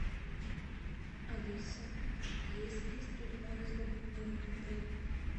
алиса есть ли стрельба из лука в моем отеле